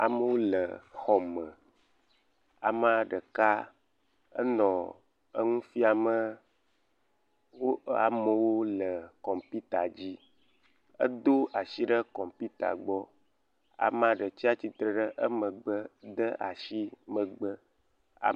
Amowo le xɔ me, ama ɖeka enɔ eŋu fiame wo.. amowo le kɔmpita dzi. Edo atsi ɖe kɔmpita gbɔ, ama ɖe tsi atsitre ɖe emegbe de atsi megbe.